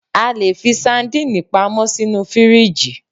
A lè fi sandínì pamọ́ sínú fíríjì